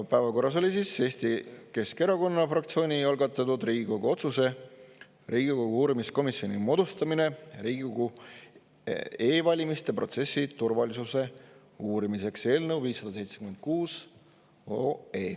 Päevakorras oli Eesti Keskerakonna fraktsiooni algatatud Riigikogu otsuse "Riigikogu uurimiskomisjoni moodustamine Riigikogu e-valimiste protsessi turvalisuse uurimiseks" eelnõu 576.